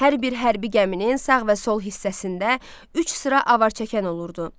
Hər bir hərbi gəminin sağ və sol hissəsində üç sıra avarçəkən olurdu.